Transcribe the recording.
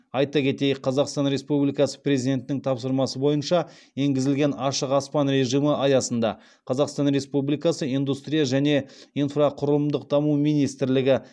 айта кетейік қазақстан республикасы президентінің тапсырмасы бойынша енгізілген ашық аспан режимі аясында қазақстан республикасы индустрия және инфрақұрылымдық даму министрлігі